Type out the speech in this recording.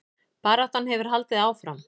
Baráttan hefur haldið áfram